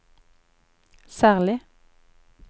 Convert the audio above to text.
særlig